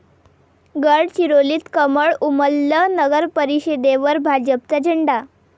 गडचिरोलीत कमळ उमललं, नगरपरिषदेवर भाजपचा झेंडा